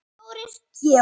Þórir Georg.